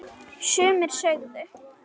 Sumir sögðu